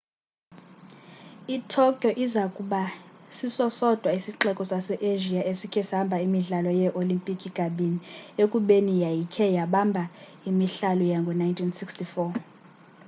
i-tokyo iza kuba siso sodwa isixeko sase-asia esikhe sabamba imidlalo yee-olimpiki kabini ekubeni yayikhe yabamba imihlalo yango-1964